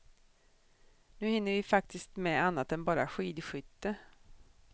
Nu hinner vi faktiskt med annat än bara skidskytte.